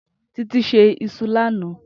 Titi sé iṣú lànã